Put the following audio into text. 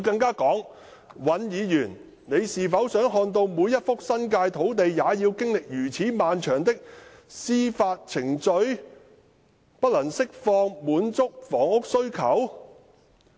她表示："尹議員，你是否想看到每一幅新界的土地也要經歷如此漫長的司法程序，不能釋放，不能滿足香港市民的房屋需求？